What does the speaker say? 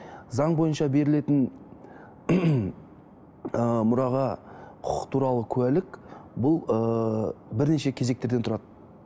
заң бойынша берілетін мұраға құқық туралы куәлік бұл ыыы бірнеше кезектерден тұрады